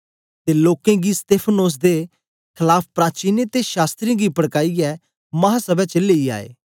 ते लोकें गी स्तेफनोस दे खलाफ प्राचीनें ते शास्त्रियें गी पड़काइयै महासभै च लेई आए